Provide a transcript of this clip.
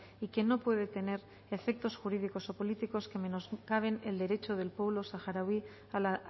y que no puede tener efectos jurídico o políticos que menoscaben el derecho del pueblo saharaui a la